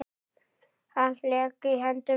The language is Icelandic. Allt lék í höndum hennar.